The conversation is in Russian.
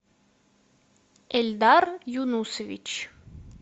эльдар юнусович